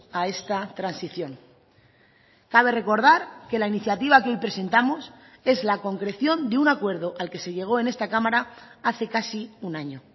a esta transición cabe recordar que la iniciativa que hoy presentamos es la concreción de un acuerdo al que se llegó en esta cámara hace casi un año